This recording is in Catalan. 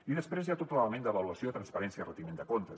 i després hi ha tot l’element d’avaluació de transparència i retiment de comptes